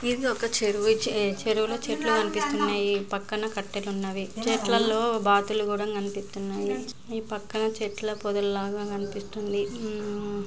ఇధి ఒక చెరువు ఈ చే-చెరువులో చెట్లు కనిపిస్తున్నాయి.పక్కన కట్టెలున్నవి .ఆ చెట్లల్లో బాతులు కూడా కనిపితున్నాయి.ఈ పక్కన చెట్ల పొదలు లాగ కనిపిస్తున్నాయి.